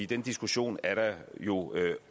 den diskussion er der jo